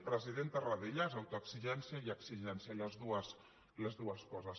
president tarradellas autoexigència i exigència les dues coses